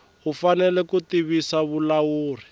u fanele ku tivisa vulawuri